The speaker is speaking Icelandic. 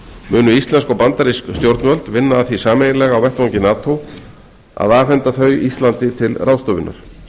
munu íslensk og bandarísk stjórnvöld vinna að því sameiginlega á vettvangi nato að afhenda þau íslandi til ráðstöfunar